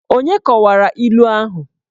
Onye kọwara ilu ahụ?